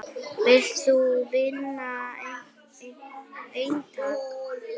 Vilt þú vinna eintak?